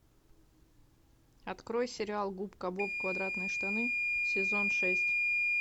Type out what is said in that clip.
открой сериал губка боб квадратные штаны сезон шесть